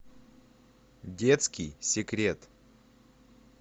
детский секрет